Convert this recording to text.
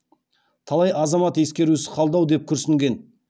талай азамат ескерусіз қалды ау деп күрсінген